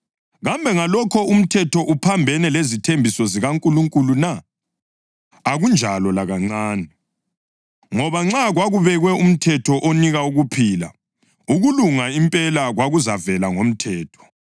Kambe ngalokho umthetho uphambene lezithembiso zikaNkulunkulu na? Akunjalo lakancane! Ngoba nxa kwakubekwe umthetho onika ukuphila, ukulunga impela kwakuzavela ngomthetho.